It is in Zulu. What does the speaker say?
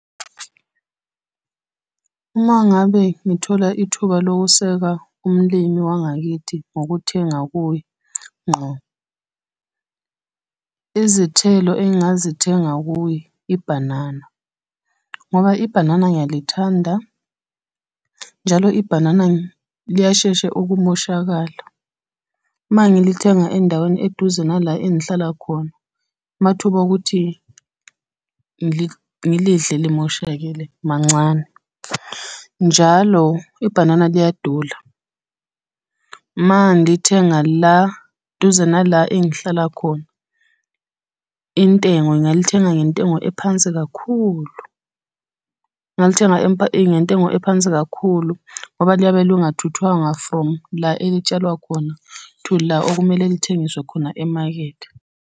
Uma ngabe ngithola ithuba lokuseka umlimi wangakithi ngokuthenga kuye ngqo, izithelo engingazithenga kuye ibhanana, ngoba ibhanana ngiyalithanda, njalo ibhanana liyashesha ukumoshakala. Uma ngilithenga endaweni eduze nala engihlala khona, amathuba okuthi ngilidle limoshakele mancane. Njalo ibhanana liyadula, uma ngilithenga la duze nala engihlala khona, intengo ngalithenga ngentengo ephansi kakhulu. Ngalithenga ngentengo ephansi kakhulu ngoba liyabe lingathuthwanga from la elitshalwa khona to la okumele lithengiswe khona emakethe.